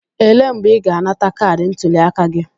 Elee mgbe ị ga-anata kaadị ntuliaka gị?